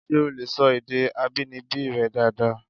Ṣé o lè sọ èdè abínibí rẹ dáadáa?